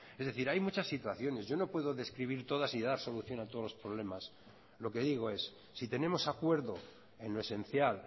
es decir hay muchas situaciones yo no puedo describir todas y dar solución a todos los problemas lo que digo es si tenemos acuerdo en lo esencial